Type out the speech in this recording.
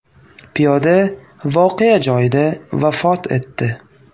Piyoda voqea joyida vafot etdi.